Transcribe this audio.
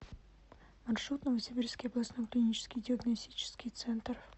маршрут новосибирский областной клинический диагностический центр